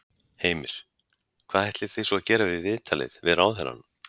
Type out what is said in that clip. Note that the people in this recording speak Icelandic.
Heimir: Hvað ætlið þið svo að gera við viðtalið við ráðherrann?